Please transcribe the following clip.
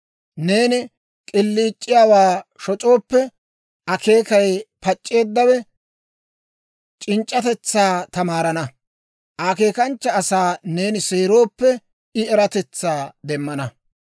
Neeni k'iliic'iyaawaa shoc'ooppe, akeekay pac'c'eeddawe c'inc'c'atetsaa tamaarana; akeekanchcha asaa neeni seerooppe, I eratetsaa demmana.